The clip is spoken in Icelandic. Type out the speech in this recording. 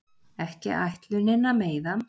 Ekki ætlunin að meiða